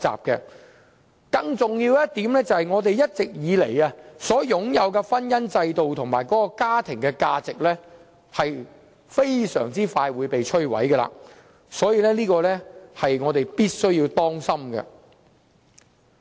更重要的一點，就是我們一直以來擁有的婚姻制度和家庭價值將會被迅速摧毀，這方面是我們要當心的。